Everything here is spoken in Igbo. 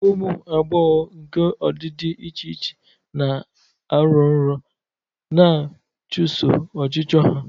Ụmụ agbọghọ nke ọdịdị dị iche iche na-arọ nrọ, na-achụso ọchịchọ ha.